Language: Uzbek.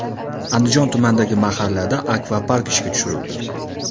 Andijon tumanidagi mahallada akvapark ishga tushirildi.